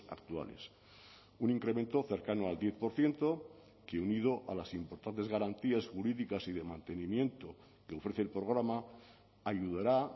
actuales un incremento cercano al diez por ciento que unido a las importantes garantías jurídicas y de mantenimiento que ofrece el programa ayudará